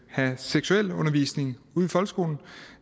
have seksualundervisning ude folkeskolen